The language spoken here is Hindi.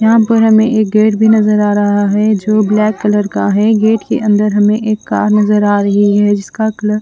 यहां पर हमें एक गेट भी नजर आ रहा है जो ब्लैक कलर का है गेट के अंदर हमें एक कार नजर आ रही है जिसका कलर --